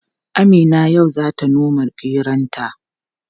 Amina yau zata noma geronta.